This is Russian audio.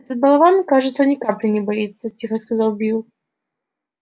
этот болван кажется ни капли не боится тихо сказал билл